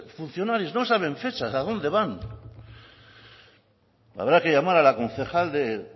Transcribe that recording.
funcionarios y profesionales a dónde van habrá que llamar a la concejal